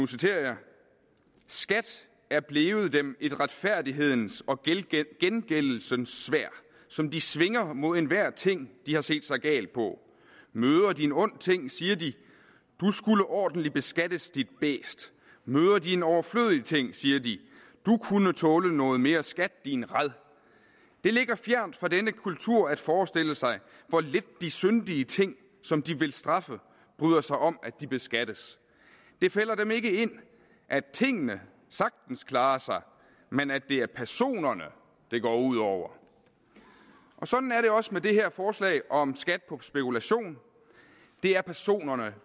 citerer skat er blevet dem et retfærdighedens og gengældelsens sværd som de svinger mod enhver ting de har set sig gal på møder de en ond ting siger de du skulle ordentlig beskattes dit bæst møder de en overflødig ting siger de du kunne tåle noget mere skat din rad det ligger fjernt fra denne kultur at forestille sig hvor lidt de syndige ting som de vil straffe bryder sig om at de beskattes det falder dem ikke ind at tingene sagtens klarer sig men at det er personerne det går ud over sådan er det også med det her forslag om en skat på spekulation det er personerne